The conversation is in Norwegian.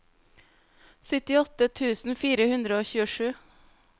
syttiåtte tusen fire hundre og tjuesju